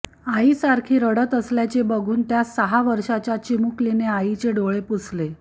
आई सारखी रडत असल्याचे बघून त्या सहा वर्षाच्या चिमुकलीने आईचे डोळे पुसले